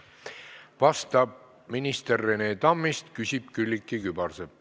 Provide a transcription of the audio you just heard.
Vastab minister Rene Tammist, küsib Külliki Kübarsepp.